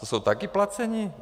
Ti jsou taky placení?